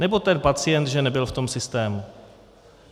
Nebo ten pacient, že nebyl v tom systému?